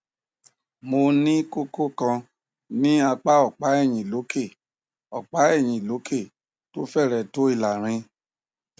mo ní kókó kan ní apá ọpá ẹyìn lókè ọpá ẹyìn lókè tó fẹrẹẹ tó ìlàrin